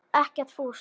Ekkert fúsk.